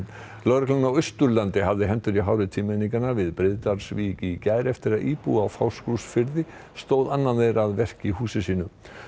lögreglan á Austurlandi hafði hendur í hári tvímenninganna við Breiðdalsvík í gær eftir að íbúi á Fáskrúðsfirði stóð annan þeirra að verki í húsi sínu